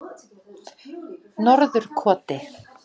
Norðurkoti